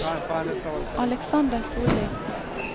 Alexander Sollie